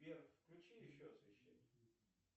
сбер включи еще освещение